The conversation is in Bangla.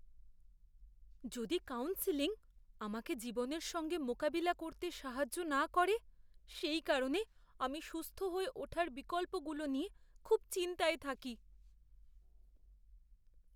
যদি কাউন্সেলিং আমাকে জীবনের সঙ্গে মোকাবিলা করতে সাহায্য না করে, সেই কারণে আমি সুস্থ হয়ে ওঠার বিকল্পগুলো নিয়ে খুব চিন্তায় থাকি।